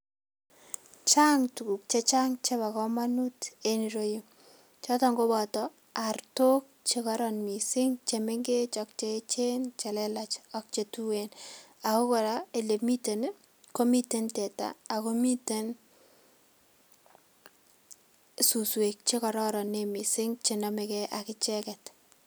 Chang tukuk che chang chebo kamanut eng yuroyu. Choton koboto artok che koron mising che mengech ak che echen, che lelach ak che tuen, ako kora ole miten, ko miten teta ako miten suswek che kororon mising che nomegee ak icheket.